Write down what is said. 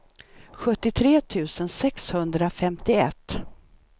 sjuttiotre tusen sexhundrafemtioett